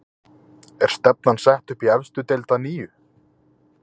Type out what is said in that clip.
Er stefnan sett upp í efstu deild að nýju?